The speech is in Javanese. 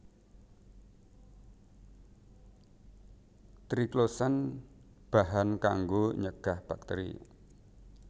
Triclosan bahan kanggo nyegah bakteri